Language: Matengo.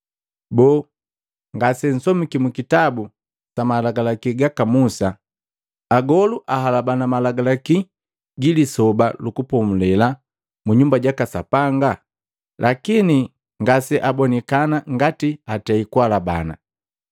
Boo, ngasensomiki mukitabu sa Malagalaki gaka Musa agolu ahalabana Malagalaki gi Lisoba lu Kupomulela munyumba jaka Sapanga, lakini ngase abonikana ngati atei kuhalabana?